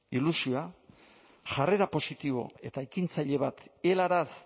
ilusioa jarrera positibo eta ekintzaile bat helaraz